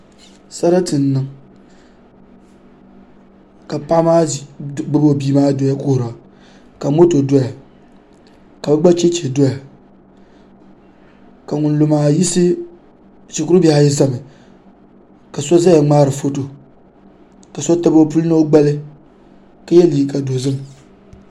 Sarati n niŋ ka paɣa maa gbubi o bia maa doya kuhura ka moto doya ka bi gba chɛchɛ doya shikuru bihi ayi ʒɛmi ka so ʒɛya ŋmaari foto ka so tabi o puli ni o gbali ka yɛ liiga dozim